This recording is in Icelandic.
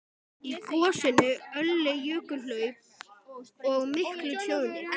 Í gosinu olli jökulhlaup og miklu tjóni.